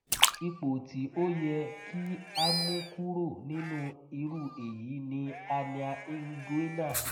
ipo ti o ye ki a mukuro ninu iru eyi ni hernia inguinal